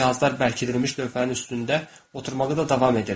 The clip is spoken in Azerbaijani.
Pişik cihazlar bərkidilmiş lövhənin üstündə oturmağa da davam edirdi.